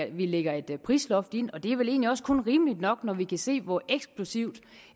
vi lægger et prisloft ind og det er vel egentlig også kun rimeligt nok når vi kan se hvor eksplosivt